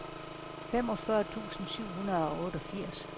femogfyrre tusind syv hundrede og otteogfirs